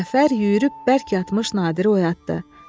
Cəfər yüyürüb bərk yatmış Nadiri oyatdı.